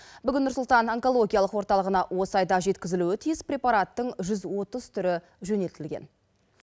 бүгін нұр сұлтан онкологиялық орталығына осы айда жеткізілуі тиіс препараттың жүз отыз түрі жөнелтілген